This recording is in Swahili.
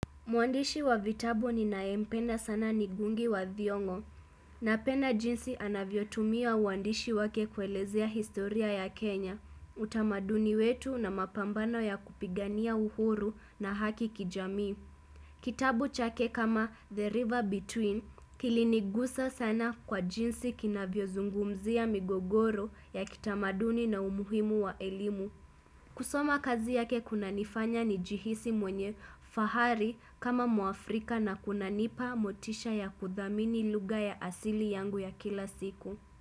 Mwandishi wa vitabu ninayempenda sana ni ngugi wa thiongo. Napenda jinsi anavyo tumia uandishi wake kuelezea historia ya Kenya. Utamaduni wetu na mapambano ya kupigania uhuru na haki kijamii. Kitabu chake kama The River Between kilinigusa sana kwa jinsi kinavyo zungumzia migogoro ya kitamaduni na umuhimu wa elimu. Kusoma kazi yake kunanifanya nijihisi mwenye fahari kama muafrika na kunanipa motisha ya kudhamini lugha ya asili yangu ya kila siku.